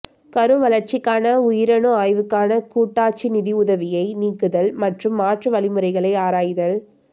கரு வளர்ச்சிக்கான உயிரணு ஆய்வுக்கான கூட்டாட்சி நிதியுதவியை நீக்குதல் மற்றும் மாற்று வழிமுறைகளை ஆராய்தல்